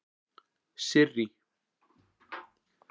Sirrý